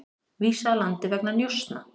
Vísað úr landi vegna njósna